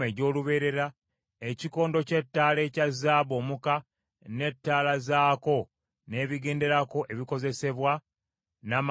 ekikondo ky’ettaala ekya zaabu omuka, n’ettaala zaako n’ebigenderako ebikozesebwa, n’amafuta gaazo;